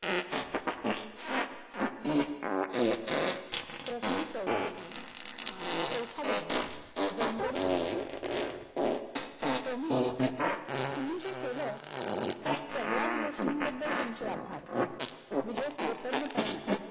प्रकरण चवथे. चौथा दिवस. जावंगड किल्ला. स्वामी तुम्ही जे केलाय त्या सगळ्याच गोष्टीन बद्धल तुमचे आभार. विजय कृत्यग्नपणे म्हणाला.